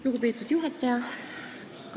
Lugupeetud juhataja!